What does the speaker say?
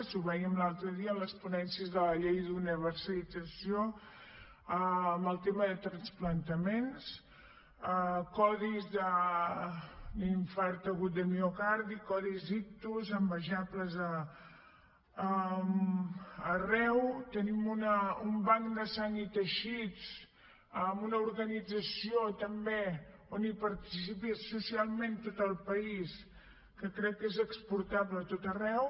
i ho vèiem l’altre dia en les ponències de la llei d’universalització en el tema de trasplantaments codis d’infart agut de miocardi codis ictus envejables arreu tenim un banc de sang i teixits amb una organització també en què participa socialment tot el país que crec que és exportable a tot arreu